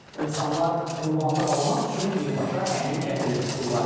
İnsanlar qurbanlıq almaq üçün birbaşa həmin kəndə üz tuturlar.